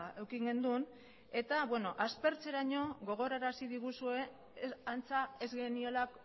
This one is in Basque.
eduki